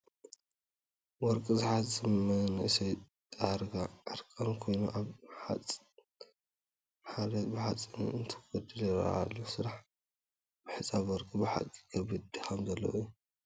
ወርቂ ዝሓፅብ መንእሰይ ዳርጋ ዕርቃኑ ኮይኑ ኣብ ሓሬት ብሓፂን እንትጐልል ይርአ ኣሎ፡፡ ስራሕ ምሕፃብ ወርቂ ብሓቂ ከቢድ ድኻም ዘለዎ እዩ፡፡